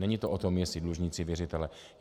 Není to o tom, jestli dlužníci - věřitelé.